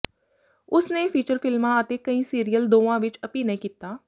ਉਸਨੇ ਫੀਚਰ ਫਿਲਮਾਂ ਅਤੇ ਕਈ ਸੀਰੀਅਲ ਦੋਵਾਂ ਵਿੱਚ ਅਭਿਨੈ ਕੀਤਾ